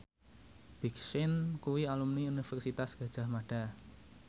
Big Sean kuwi alumni Universitas Gadjah Mada